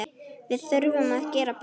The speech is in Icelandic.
Við þurfum að gera betur.